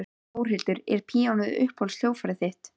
Þórhildur: Er píanóið uppáhalds hljóðfærið þitt?